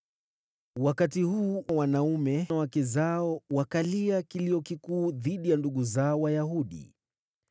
Wakati huu wanaume na wake zao wakalia kilio kikuu dhidi ya ndugu zao Wayahudi.